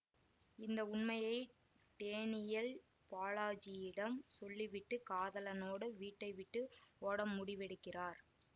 இந்த உண்மையை டேனியல் பாலாஜியிடம் சொல்லிவிட்டு காதலனோடு வீட்டை விட்டு ஓட முடிவெடுக்கிறார்